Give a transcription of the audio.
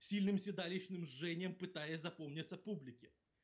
сильным седалищным жжением пытаясь запомнится публики